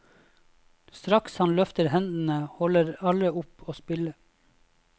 Straks han løfter hendene holder alle opp å spille.